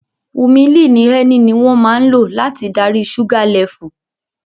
Humillini Ń ni wón máa ń lò láti darí ṣúgá lẹfù